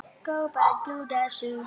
Ágústus lét gera við